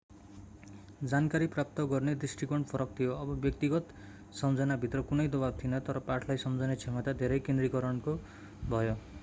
जानकारी प्राप्त गर्ने दृष्टिकोण फरक थियो अब व्यक्तिगत सम्झनाभित्र कुनै दबाव थिएन तर पाठलाई सम्झने क्षमता धेरै केन्द्रीकरणको भयो